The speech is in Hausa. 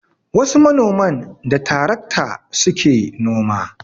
Wasu manoman da tarakta su ke noma